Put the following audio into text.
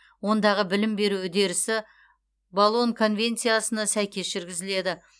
ондағы білім беру үдерісі болон конвенциясына сәйкес жүргізіледі